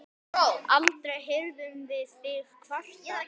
Aldrei heyrðum við þig kvarta.